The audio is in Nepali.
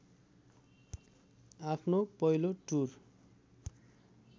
आफ्नो पहिलो टुर